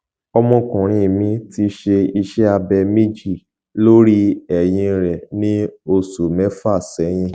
ọmọkùnrin mi ti ṣe iṣẹ abẹ méjì lórí ẹyìn rẹ ní oṣù mẹfà sẹyìn